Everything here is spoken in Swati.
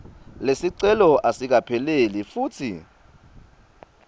lesicelo asikapheleli futsi